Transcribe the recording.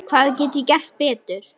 Hvað get ég gert betur?